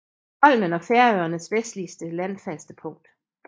Holmen er Færøernes vestligste landfaste punkt